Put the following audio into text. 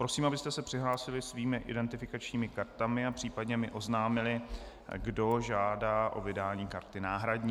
Prosím, abyste se přihlásili svými identifikačními kartami a případně mi oznámili, kdo žádá o vydání karty náhradní.